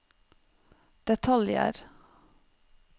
detaljer